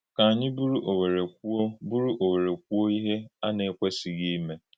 Kà ànyí bùrù ówèrè kwúò bùrù ówèrè kwúò íhè à na-ekwèsìghì ímè.